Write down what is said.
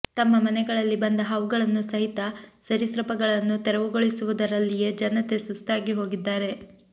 ತಮ್ಮ ಮನೆಗಳಲ್ಲಿ ಬಂದ ಹಾವುಗಳನ್ನು ಸಹಿತ ಸರೀಸೃಪಗಳನ್ನು ತೆರವುಗೊಳಿಸುವುದರಲ್ಲಿಯೇ ಜನತೆ ಸುಸ್ತಾಗಿ ಹೋಗಿದ್ದಾರೆ